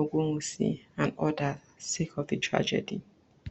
ogunwusi and odas sake of di tragedy